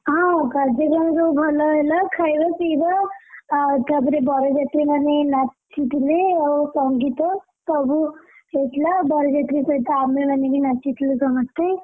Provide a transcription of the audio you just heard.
ହଁ କାଯ୍ୟକ୍ରମ ସବୁ ଭଲ ହେଲା, ଖାଇବା ପିଇବା ଆଉ ତାପରେ ବରଯାତ୍ରୀମାନେ ନାଚି, ଥିଲେ ଆଉ ସଙ୍ଗୀତ, ସବୁ, ହେଇଥିଲା ବରଯାତ୍ରୀ ସହିତ ଆମେ ମାନେ ବି ନାଚିଥିଲୁ ସମସ୍ତେ।